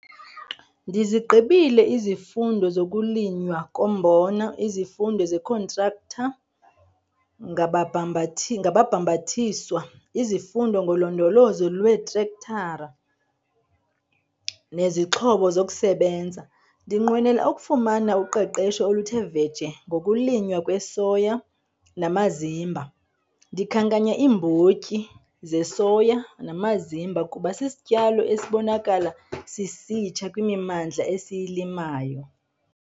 Ndizigqibile izifundo zokuLinywa koMbona, izifundo zeeKhontraktha - ngababhambathiswa, izifundo ngoLondolozo lweeTrektara neZixhobo zokuSebenza. Ndinqwenela ukufumana uqeqesho oluthe vetshe ngokulinywa kwesoya namazimba. Ndikhankanya iimbotyi zesoya namazimba kuba sisityalo esibonakala sisitsha kwimimandla esiyilimayo.